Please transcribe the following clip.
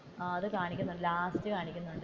അത് കാണിക്കുന്നുണ്ട് ലാസ്റ്റ്.